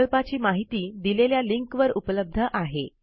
प्रकल्पाची माहिती दिलेल्या लिंकवर उपलब्ध आहे